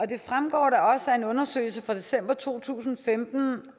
det fremgår da også af en undersøgelse fra december to tusind og femten